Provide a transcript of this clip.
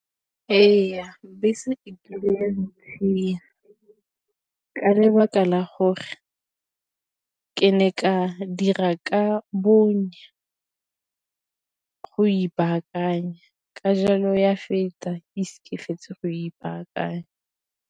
Ee, bese e tlile ya ntshia ka lebaka la gore ke ne ka dira ka bonya go ipaakanya ka jalo ya feta ise fetse go ipaakanya.